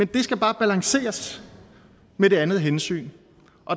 det bare balanceres med det andet hensyn